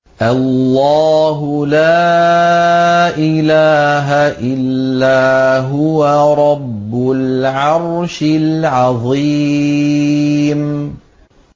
اللَّهُ لَا إِلَٰهَ إِلَّا هُوَ رَبُّ الْعَرْشِ الْعَظِيمِ ۩